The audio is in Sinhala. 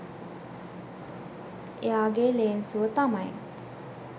එයාගෙ ලේන්සුව තමයි